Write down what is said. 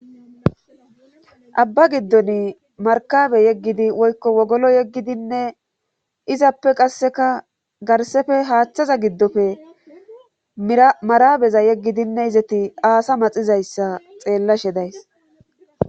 abba giddon markabe yeggidi woykko wogolo yeggidinne izappe qasseka garsefe haaththaza giddofe marabeza yeggidinne izati aasa maxizayssa xeellashe days